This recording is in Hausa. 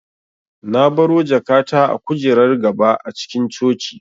Na baro jakata a kujerar gaba a cikin coci